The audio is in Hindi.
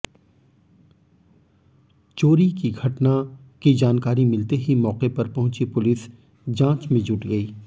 चोरी की घटना की जानकारी मिलते ही मौके पर पहुंची पुलिस जांच में जुट गई